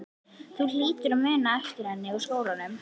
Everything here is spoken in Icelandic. Þú hlýtur að muna eftir henni úr skólanum?